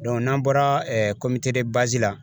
n'an bɔra la